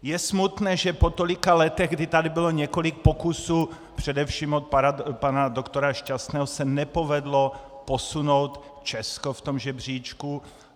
Je smutné, že po tolika letech, kdy tady bylo několik pokusů, především od pana doktora Šťastného, se nepovedlo posunout Česko v tom žebříčku.